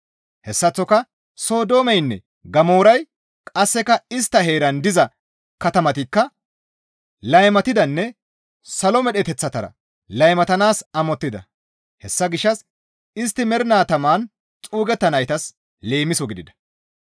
Hessaththoka Sodoomeynne Gamooray qasseka istta heeran diza katamatikka laymatidanne salo medheteththatara laymatanaas amottida; hessa gishshas istti mernaa taman xuugetanaytas leemiso gidida.